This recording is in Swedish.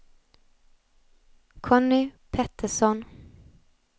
Conny Petersson